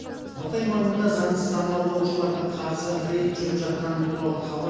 матай маңында заңсыз аң аулаушыларға қарсы рейд жүріп жатқаны туралы хабар